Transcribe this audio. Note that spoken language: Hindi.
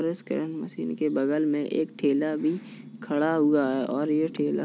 स्कैन मशीन के बगल में एक ठेला भी खड़ा हुआ है और ये ठेला --